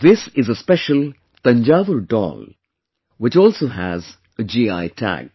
This is a special Thanjavur Doll, which also has a GI Tag